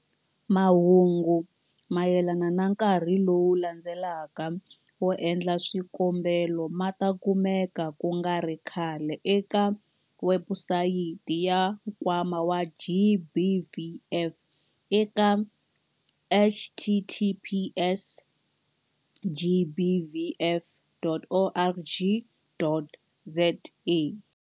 Mahungu mayelana na nkarhi lowu landzelaka wo endla swikombelo ma ta kumeka ku nga ri khale eka webusayiti ya Nkwama wa GBVF eka-https-gbvf.org.za-.